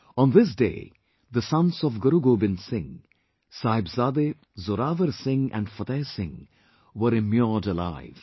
On this day the sons of Guru Gobind Singh, Sahibzade Zorawar Singh and Fateh Singh were immured alive